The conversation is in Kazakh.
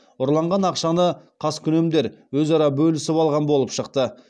ұрланған ақшаны қаскүнемдер өзара бөлісіп алған болып шықты